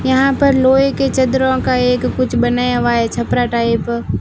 यहां पर लोहे के चद्दरों का एक कुछ बनाया हुआ है छपरा टाइप --